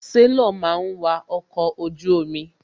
Sélọ̀ máa ń wa ọkọ̀ ojú omi.